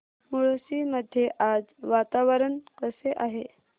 मुळशी मध्ये आज वातावरण कसे आहे